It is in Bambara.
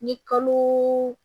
Ni kalo